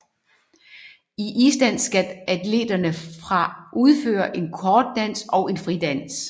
I isdans skal atleterne fra udføre en kort dans og en fridans